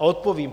A odpovím.